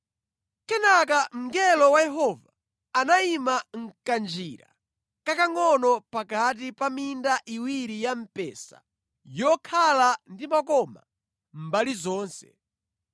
Kenaka mngelo wa Yehova anayima mʼkanjira kakangʼono pakati pa minda iwiri ya mpesa yokhala ndi makoma mbali zonse